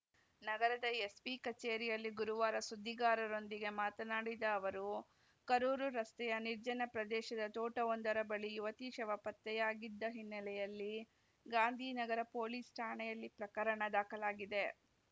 ನಗರದ ಎಸ್ಪಿ ಕಚೇರಿಯಲ್ಲಿ ಗುರುವಾರ ಸುದ್ದಿಗಾರರೊಂದಿಗೆ ಮಾತನಾಡಿದ ಅವರು ಕರೂರು ರಸ್ತೆಯ ನಿರ್ಜನ ಪ್ರದೇಶದ ತೋಟವೊಂದರ ಬಳಿ ಯುವತಿ ಶವ ಪತ್ತೆಯಾಗಿದ್ದ ಹಿನ್ನೆಲೆಯಲ್ಲಿ ಗಾಂಧಿ ನಗರ ಪೊಲೀಸ್‌ ಠಾಣೆಯಲ್ಲಿ ಪ್ರಕರಣ ದಾಖಲಾಗಿದೆ